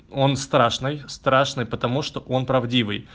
он страшный страшный потому что он правдивый